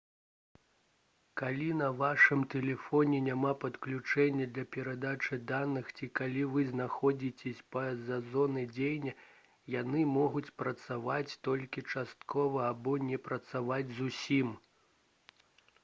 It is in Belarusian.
калі на вашым тэлефоне няма падключэння для перадачы даных ці калі вы знаходзіцеся па-за зонай дзеяння яны могуць працаваць толькі часткова або не працаваць зусім